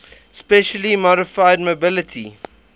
specially modified mobility